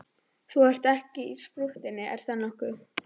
Þú ert ekkert í sprúttinu, er það nokkuð?